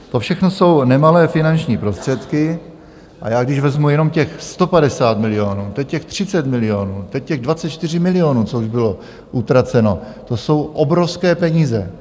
To všechno jsou nemalé finanční prostředky a já, když vezmu jenom těch 150 milionů, teď těch 30 milionů, teď těch 24 milionů, co už bylo utraceno, to jsou obrovské peníze.